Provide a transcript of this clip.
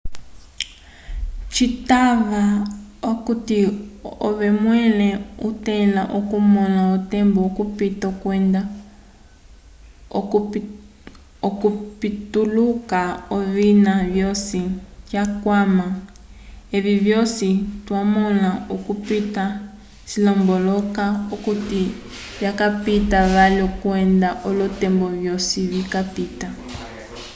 citava okuti ove mwẽle otẽla okumõla otembo okupita kwenda okupituluka ovina vyosi twakwama evi vyosi twamõla okupita cilomboloka okuti vikapita vali kwenda olotembo vyosi vikapita